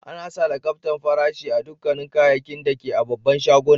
Ana sa lakabtar farashi a dukan kayakin da ke a'babban shagunan.